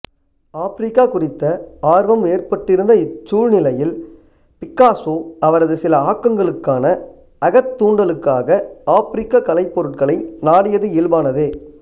Africa குறித்த ஆர்வம் ஏற்பட்டிருந்த இச் சூழ்நிலையில் பிக்காசோ அவரது சில ஆக்கங்களுக்கான அகத்தூண்டலுக்காக ஆப்பிரிக்கக் கலைப்பொருட்களை நாடியது இயல்பானதே